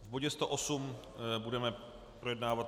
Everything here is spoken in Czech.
V bodě 108 budeme projednávat